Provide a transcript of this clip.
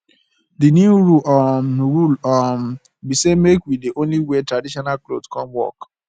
the new rule um rule um be say make we dey only wear traditional cloth come work